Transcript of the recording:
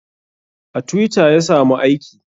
A twitter ya samu aiki